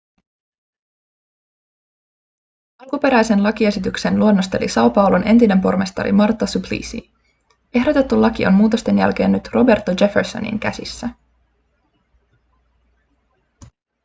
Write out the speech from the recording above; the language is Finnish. alkuperäisen lakiesityksen luonnosteli são paulon entinen pormestari marta suplicy. ehdotettu laki on muutosten jälkeen nyt roberto jeffersonin käsissä